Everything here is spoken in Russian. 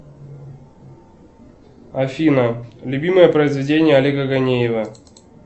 афина любимое произведение олега ганеева